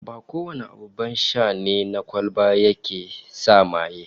Ba kowane abin sha na kwalba ne yake sa maye ba